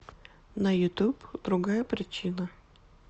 на ютуб другая причина